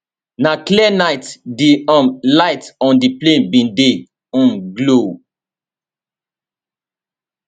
na clear night di um lights on di plane bin dey um glow